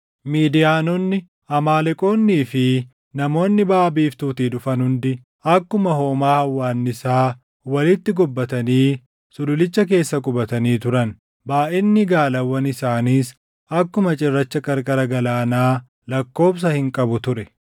Midiyaanonni, Amaaleqoonnii fi namoonni baʼa biiftuutii dhufan hundi akkuma hoomaa hawwaannisaa walitti gobbatanii sululicha keessa qubatanii turan. Baayʼinni gaalawwan isaaniis akkuma cirracha qarqara galaanaa lakkoobsa hin qabu ture.